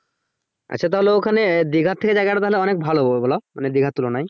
আচ্ছা তাহলে ওখানে দিঘা থেকে জায়গা টা অনেক ভালো এগুলা মানে দিঘার তুলনায়।